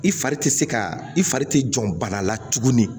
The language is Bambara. I fari ti se ka i fari ti jɔ bana la tuguni